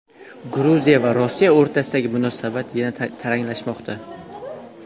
Gruziya va Rossiya o‘rtasidagi munosabat yana taranglashmoqda.